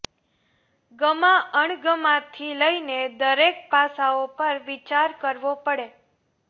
ગમા અણગમા થી લઈ દરેક પાસાઓ પર વિચાર કરવો પડે